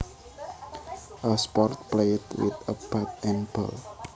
A sport played with a bat and ball